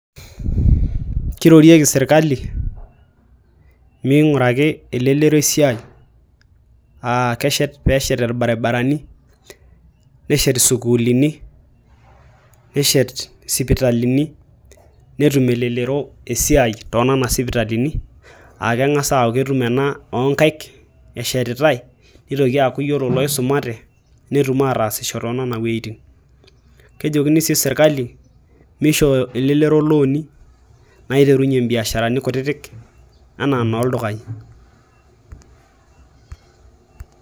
Keirorieki serkilani meing'uraki elelero esiai aaakeshet irbarabarani neshet isukuulini neshet isipitalini netum elelero esiai toonana sipitali aakeng'a aaku ketum ena oonkaik neitoki aatum eshetitai neitoki aaku yiolo iloisumate netum ataashisho toonena wuetin kejokini sii serkali meishoo elelero ilooni naiterunyie imbiasharani kutitik enaa nooldukai .